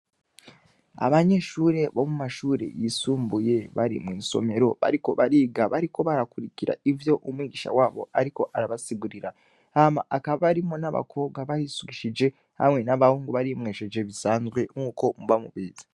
Abanyeshure bo mumashure yisumbuye bari mw'isomero, bariko bariga bariko barakurikira ivyo umwigisha wabo ariko arabasigurira, hama hakaba harimwo n'abakobwa barisukishije, hamwe n'abahungu barimwesheje bisanzwe nkuko muba mubizi.